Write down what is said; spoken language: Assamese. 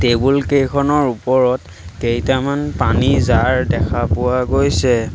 টেবুল কেইখনৰ ওপৰত কেইটামান পানী জাৰ দেখা পোৱা গৈছে।